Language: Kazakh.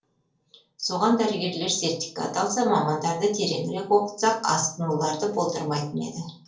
соған дәрігерлер сертификат алса мамандарды тереңірек оқытсақ асқынуларды болдырмайтын еді